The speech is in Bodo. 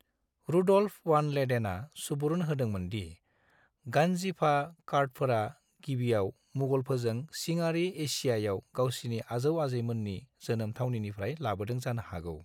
रुड'ल्फ वान लेडेनआ सुबुरुन होदोंमोन दि गानजिफा कार्डफोरा गिबियाव मुगलफोरजों सिङारि एसियायाव गावसिनि आ‍जौ-आजैमोननि जोनोम थावनिनिफ्राय लाबोदों जानो हागौ।